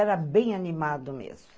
Era bem animado mesmo.